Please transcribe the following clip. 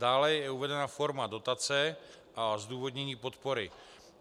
Dále je uvedena forma dotace a zdůvodnění podpory.